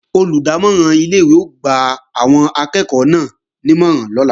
Olùdámọ̀ràn ilé-ìwé ó gba àwọn akẹ́ẹ̀kọ́ náà nímọ̀ràn lọ́la